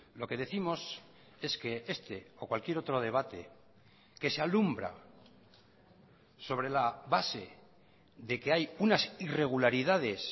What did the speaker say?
lo que décimos es que este o cualquier otro debate que se alumbra sobre la base de que hay una irregularidades